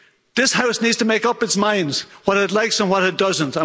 This House needs to make up its mind what it likes and what it doesn't.